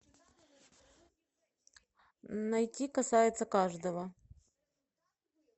найти касается каждого